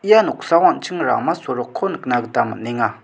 ia noksao an·ching rama sorokko nikna gita man·enga.